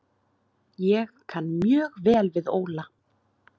Ég kann mjög vel við Óla.